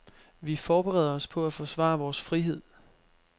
Vi forbereder os på at forsvare vores frihed.